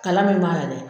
Kalan min b'a la dɛ